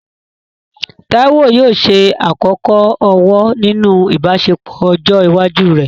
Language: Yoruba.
Taiwo yóò ṣe àkọ́kọ́ ọ̀wọ̀ nínú ìbáṣepọ̀ ọjọ́ iwájú rẹ̀.